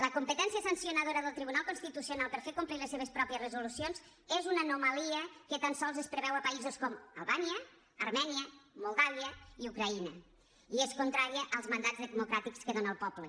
la competència sancionadora del tribunal constitucional per fer complir les seves pròpies resolucions és una anomalia que tan sols es preveu a països com albània armènia moldàvia i ucraïna i és contrària als mandats democràtics que dona el poble